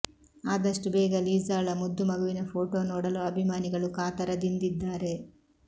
ಆದಷ್ಟು ಬೇಗ ಲಿಸಾಳ ಮುದ್ದು ಮಗುವಿನ ಫೋಟೋ ನೋಡಲು ಅಭಿಮಾನಿಗಳು ಕಾತರದಿಂದಿದ್ದಾರೆ